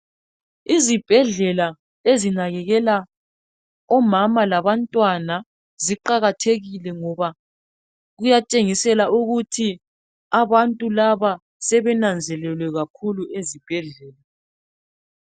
Izibhedlela ezinakekela omama lababantwana ziqakathekile ngoba kuyatshengisela ukuthi abantu laba sebenanzelele kakhulu ezibhedlela.